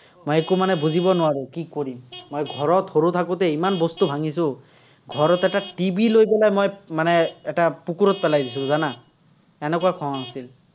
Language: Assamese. মই একো মানে বুজিব নোৱাৰো কি কৰিম, মই ঘৰত সৰু থাকোতে ইমান বস্তু ভাঙিছো। ঘৰত এটা TV লৈ পেলাই মই মানে এটা পেলাই দিছিলো, জানা? এনেকুৱা খং আছিল।